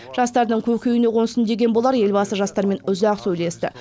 жастардың көкейіне қонсын деген болар елбасы жастармен ұзақ сөйлесті